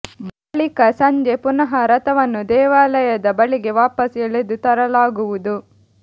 ಬಳಿಕ ಸಂಜೆ ಪುನಃ ರಥವನ್ನು ದೇವಾಲಯದ ಬಳಿಗೆ ವಾಪಸ್್ ಎಳೆದು ತರಲಾಗುವುದು